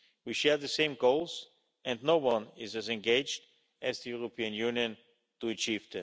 We share the same goals and no one is as engaged as the European Union to achieve